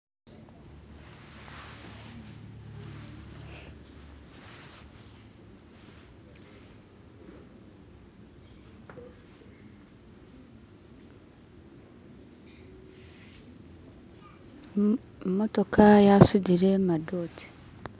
Imotoka yasudile madote